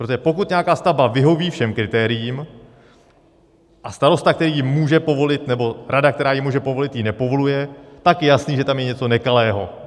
Protože pokud nějaká stavba vyhoví všem kritériím a starosta, který ji může povolit, nebo rada, která ji může povolit, ji nepovoluje, tak je jasné, že tam je něco nekalého.